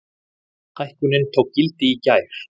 Hækkunin tók gildi í gær.